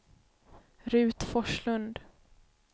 Ruth Forslund